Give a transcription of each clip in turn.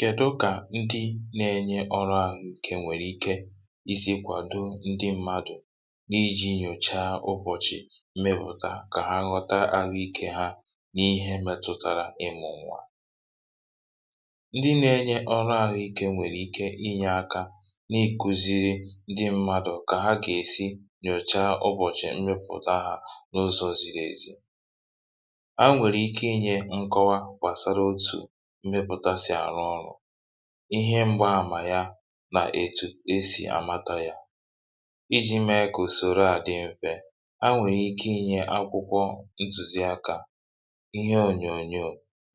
Kèdụ kà ndị nà-enye ọrụ ahụ̇ ike nwèrè ike isi̇kwa doo ndị mmadụ̀ n’iji̇ nyòcha ụbọ̀chì mmịpụ̀ta, kà ha ghọta ahụ̇ ike hȧ n’ihe mètụ̀tàrà ịmụ̇ nwa... Ndị nà-enye ọrụ ahụ̇ ike nwèrè ike inyé aka n’ikùziri ndị mmadụ̀ kà ha gà-èsi nyòcha ụbọ̀chì mmịpụ̀ta hȧ n’ụzọ̇ ziri ezi. A nwèrè ike inyé nkọwa gbasara òtù mmịpụ̀ta sì àrụ ọrụ̇, ihe mgbaàmà ya, nà étù e si amata yà, iji mee kà usoroà dị mfe. um A nwèrè ike inyé akwụkwọ ntùziaka, ihe onyonyò,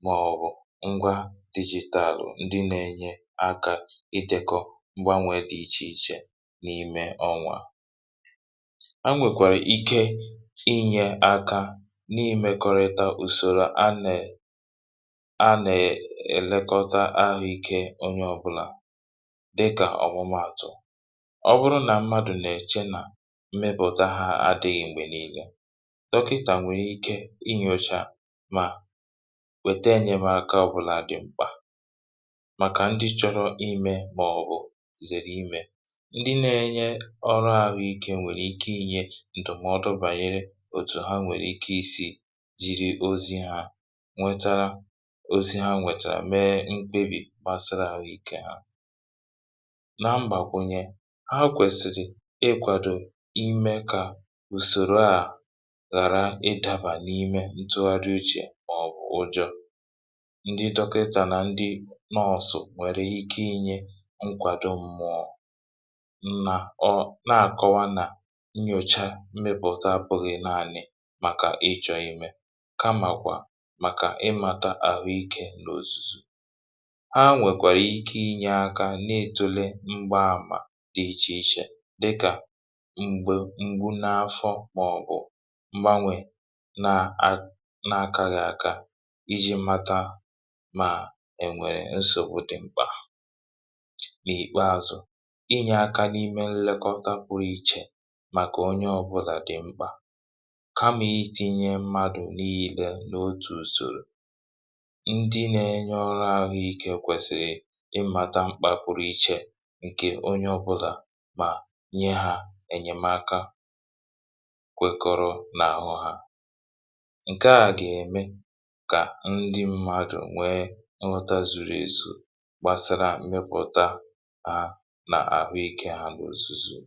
màọ̀bụ ngwa dijitalụ ndị nà-enye aka idèkọ mgbanwè dị iche iche n’ime ọnwa. A nwèkwàrà ike imékọrịta usoro ànà ànà èlekọta ahụ̇ ike onye ọbụla, dịka ọ̀bụmààtụ̀ ọ bụrụ nà mmadụ̀ nà-èchi mmịpụ̀ta hȧ adị̇ghị̇, um dọkịtà nwèrè ike inyòcha mà wèta enyémaka ọbụla dị mkpà màkà ndị chọrọ ime, bú̄ zère ime. um Ndị nà-enye ọrụ ahụ̇ ike nwèrè ike inyé ndụmọdụ banyere ozi ha nwètàrà, mee mkpebì kpasịrị ahụ̇ ike hȧ, nà mbàkwụnye hȧ. Ha kwèsìrì ịkwàdò ime kà usoro a ghàra ịdàbà n’ime ntụgharị uche màọ̀bụ ụjọ̇... Ndị dọkịtà nà ndị nọsụ̀ nwèrè ike inyé nkwàdò mmụọ, nà-akọwa nà nnyòcha mmịpụ̀ta abụghị naanị̇ màkà ịmàta ahụ̇ ike n’ozùzù. um Ha nwèkwàrà ike inyé aka n’ịtụle mgbaàmà dị iche iche, dịka mgbu n’afọ̇, bụ̀ mgbanwè nà-akà gị̇ aka iji mata ma ènwèrè nsògbu dị mkpà, nà àkpeazụ inyé aka n’ime nlekọta pụrụ iche màkà onye ọbụla dị mkpà. N’otu usoro, ndị nà-enye ọrụ ahụ̇ ike kwèsìrì ịmàta mkpà pụ̀rụ̀ iche nke onye ọbụla, mà nye hȧ enyémaka kwèkọrọ n’àhụ̇ hȧ, um Nke à gà-ème kà ndị mmadụ̀ nwee nghọta zuru ezu gbasara mmịpụ̀ta hȧ nà ahụ̇ ike hȧ bụ̀ ozùzù.